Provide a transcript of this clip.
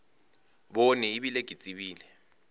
bone e bile ke tsebile